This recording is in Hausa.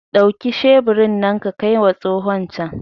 Dauki sheburi nan ka kaima tsohon can!